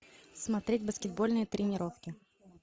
смотреть баскетбольные тренировки